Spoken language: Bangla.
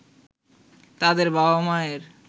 তাদের বাবা-মায়ের